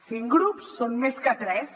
cinc grups són més que tres